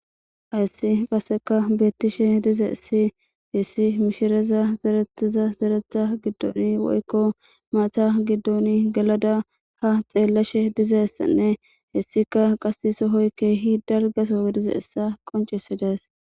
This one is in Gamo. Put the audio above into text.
Hayssi qaseka beettishe dize issi hissi mishireza zeretiza zeretha giddoni woykko maatha giddoni gelada ha xeellashe dizassanne hessika qasi sohoykkehi dalgaso wedize essa qoncisi dees